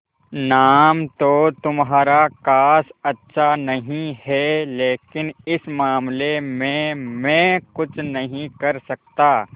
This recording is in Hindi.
नाम तो तुम्हारा खास अच्छा नहीं है लेकिन इस मामले में मैं कुछ नहीं कर सकता